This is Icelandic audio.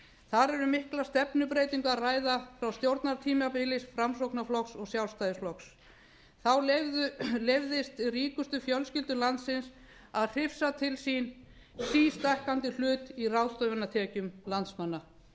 þar er um mikla stefnubreytingu að ræða frá stjórnartímabili framsóknarflokks og sjálfstæðisflokks þá leyfðist ríkustu fjölskyldum landsins að hrifsa til sín sístækkandi hlut í ráðstöfunartekjum landsmanna